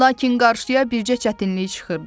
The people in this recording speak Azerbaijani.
Lakin qarşıya bircə çətinlik çıxırdı.